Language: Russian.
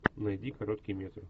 найди короткий метр